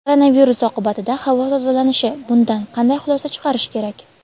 Koronavirus oqibatida havo tozalanishi: bundan qanday xulosa chiqarish kerak?.